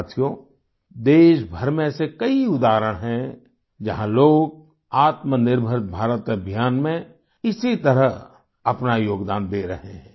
साथियो देशभर में ऐसे कई उदाहरण हैं जहां लोग आत्मनिर्भर भारत अभियान में इसी तरह अपना योगदान दे रहे हैं